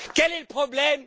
Quel est le problème?